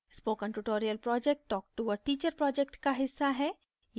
spoken tutorial project talktoa teacher project का हिस्सा है